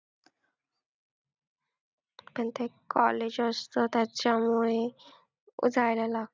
अन ते एक college असतं त्याच्यामुळे जायला लागतं.